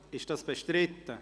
Ist das bestritten?